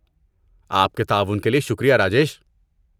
آپ کے تعاون کے لیے شکریہ، راجیش۔